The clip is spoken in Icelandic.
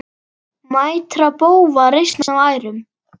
Mætra bófa reisn á ærum.